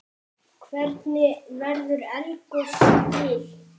Hvernig verður eldgos til?